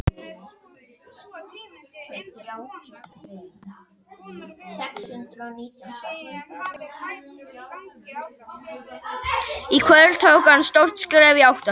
Í kvöld tók hann stórt skref í átt að því.